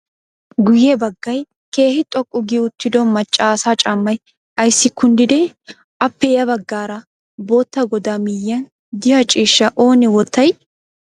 Guyye baggayi keehi xoqqu gi uttido macca asa caammay ayissi kunddidee? Appe ya baggaara bootta goda miyyiyaan diya ciishshaa oone wottayii?